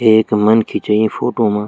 एक मनखी च ई फोटू मा।